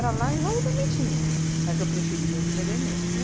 lá em Jaú também tinha, mas eu preferia os de Pederneiras.